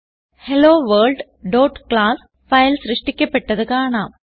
HelloWorld class file സൃഷ്ടിക്കപ്പെട്ടത് കാണാം